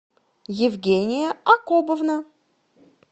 евгения акобовна